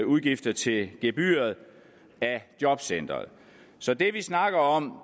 udgifter til gebyret af jobcentrene så det vi snakker om